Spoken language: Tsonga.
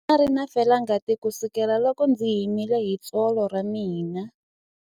Ndza ha ri na felangati kusukela loko ndzi himile hi tsolo ra mina.